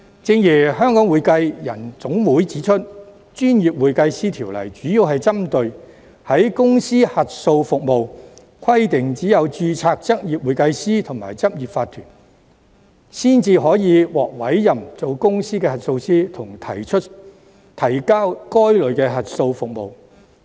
正如香港會計人員總會指出，《條例》主要針對公司核數服務，規定只有執業會計師和執業法團才可獲委任為公司核數師，以及提交該類的核數報告。